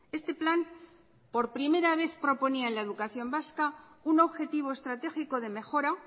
este plan por primera vez proponía en la educación vasca un objetivo estratégico de mejora